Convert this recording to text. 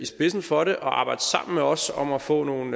spidsen for det og arbejde sammen med os om at få nogle